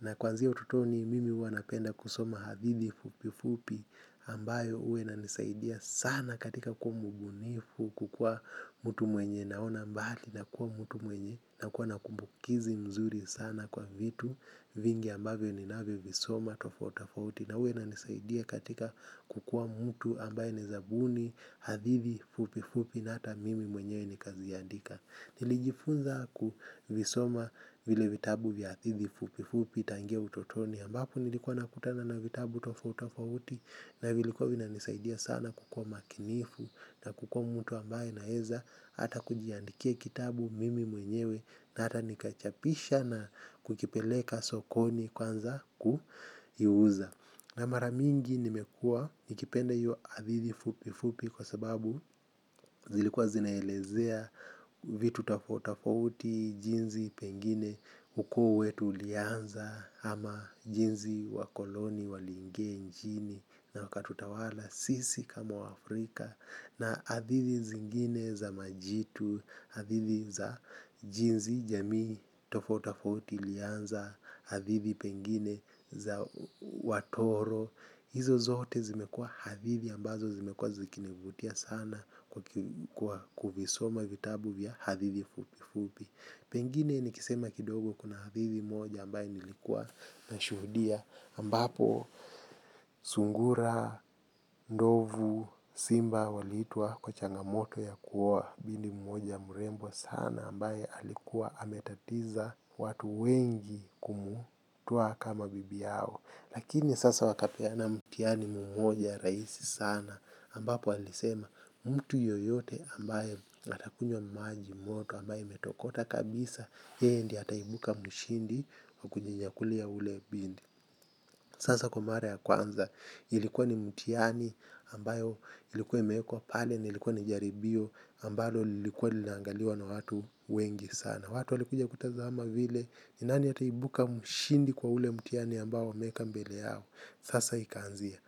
na kwanzia ututoni mimi huwa napenda kusoma hadithi fupi fupi ambayo ue inanisaidia sana katika kuwa mubunifu kukuwa mutu mwenye naona mbaali na kuwa mutu mwenye na kuwa nakumbukizi mzuri sana kwa vitu vingi ambayo ninavyo visoma tofautafauti na ue inanisaidia katika kukua mutu ambaye naeza buni hadithi fupi fupi na hata mimi mwenyewe nikaziandika. Nilijifunza kuvisoma vile vitabu vya hatithi fupi fupi tangia utotoni ambapu nilikuwa nakutana na vitabu tofauti tofauti. Na vilikuwa vinanisaidia sana kukuwa makinifu na kukuwa mtu ambaye naeza hata kujiandikia kitabu mimi mwenyewe na hata nikachapisha na kukipeleka sokoni kwanza kuiuza. Na maramingi nimekua nikipende iyo hathithi fupi fupi kwa sababu zilikuwa zinaelezea vitu tafauti tafauti jinzi pengine ukoo wetu ulianza ama jinzi wakoloni waliingia nchini na waka tutawala sisi kama Afrika na adhidhi zingine za majitu, hadhithi za jinzi jamii tafauti tafauti ilianza, adhithi pengine za watoro. Hizo zote zimekuwa hadithi ambazo zimekuwa zikinivutia sana kwa kuvisoma vitabu vya hadithi fupi fupi. Pengine nikisema kidogo kuna hadithi moja ambaye nilikuwa na shuhudia ambapo sungura, ndovu, simba waliitwa kwa changamoto ya kuoa bindi moja murembo sana ambaye alikuwa ametatiza watu wengi kumu twa kama bibi yao. Lakini sasa wakapeana mutiani mumoja raisi sana ambapo alisema mtu yoyote ambaye atakunywa maji moto ambaye imetokota kabisa yeye ndiyr ataibuka mshindi wakujinyakulia ule bindi. Sasa kwa mara ya kwanza ilikuwa ni mutiani ambayo ilikuwa imekwa pale ni ilikuwa ni jaribio ambalo lilikuwa linangaliwa na watu wengi sana. Na watu walikuja kutazama vile, ni nani ataibuka mshindi kwa ule mutiani ambao wameeka mbele yao. Sasa ikaanzia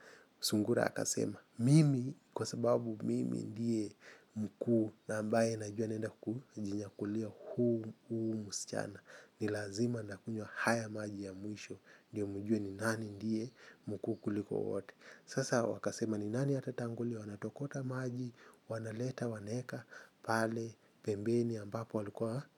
sungura akasema mimi kwa sababu mimi ndiye mkuu ambaye najua naenda kujinyakulia huu muschana. Nilazima ndakunywa haya maji ya mwisho. Ndiyo mjue ni nani ndiye mkuu kuliko wote. Sasa hao wakasema nani atatangulia wanatokota maji wanaleta pale pembeni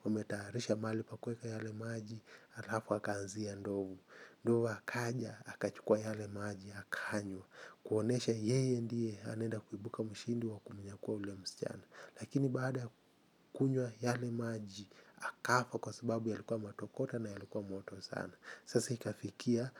wametayarisha mahali pa kueka yale maji alafu akaanzia ndovu, ndovu akaja akachukua yale maji akanywa kuonyesha yeye ndiye anaenda kuibuka mshindi wa kunyakua yule msichana lakini baada kunywa yale maji akafa kwa sababu yalikua matokota na yalikua moto sana sasa hikafikia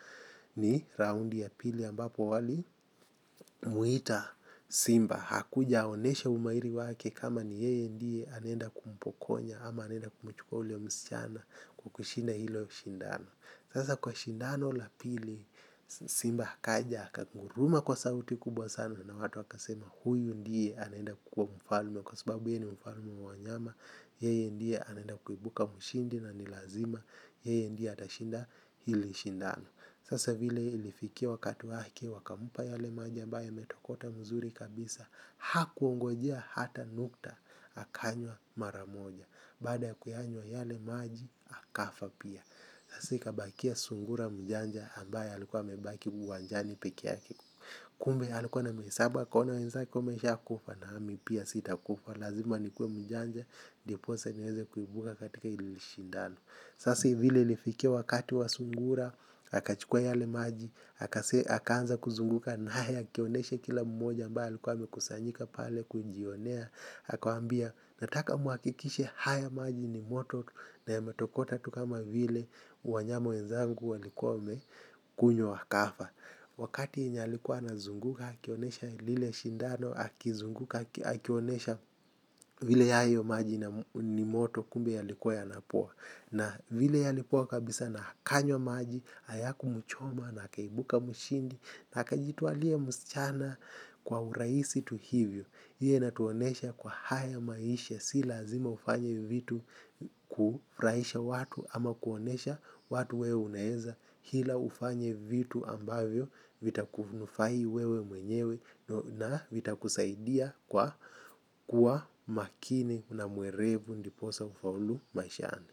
ni raundi ya pili ambapo walimwita simba hakujeonesha umairi wake kama ni yeye ndie anenda kumpokonya ama anenda kumuchukua ule msichana kukushinda hilo shindano. Sasa kwa shindano la pili simba akaja haka nguruma kwa sauti kubwa sana. Na watu waka sema huyu ndiye anenda kukuwa mfalme. Kwa sababu yeye ni mfalme wa wanyama. Yeye ndiye anenda kuibuka mshindi na nilazima yeye ndiye atashinda hili shindano. Sasa vile ilifikia wakati wake wakamupa yale maja ambaye yametokota mzuri kabisa. Hakuongojea hata nukta akanywa maramoja. Baada ya kuyanywa yale maji, akafa pia. Sasa ikabakia sungura mjanja ambaye alikuwa amebaki uwanjani pekeyake. Kumbe ya likuwa na misaba, kwaona wenzaki umesha kufa na hami pia sita kufa. Lazima nikue mjanja, ndiposa niweze kuibuka katika ilishindano. Sasi vile ilifikia wakati wa sungura, akachukua yale maji. Haka anza kuzunguka na haya kioneshe kila mmoja ambaye alikuwa amekusanyika pale kujionea akawambia nataka muakikishe haya maji ni moto na yametokota tu kama vile wanyama wenzangu walikuwa wamekunywa wakafa. Wakati yinyalikuwa na zunguka hakionesha lile shindano hakizunguka hakionesha vile yayo maji ni moto kumbe yalikuwa ya napoa. Na vile yalipoa kabisa na akanywa maji ayaku mchoma na akaibuka mshindi na aka jitualia mchana kwa uraisi tu hivyo. Iyo inatuonesha kwa haya maisha si lazima ufanye vitu kufraisha watu ama kuonesha watu wewe uneeza hila ufanye vitu ambavyo vitakunufai wewe mwenyewe na vitakusaidia kuwa makini na muerevu ndiposa ufaulu maishani.